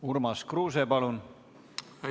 Urmas Kruuse, palun!